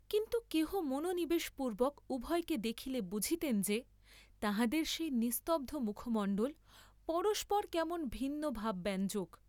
কিন্তু কেহ মনোনিবেশ পূর্ব্বক উভয়কে দেখিলে বুঝিতেন যে তাঁহাদের সেই নিস্তব্ধ মুখমণ্ডল পরস্পর কেমন ভিন্ন ভাবব্যঞ্জক।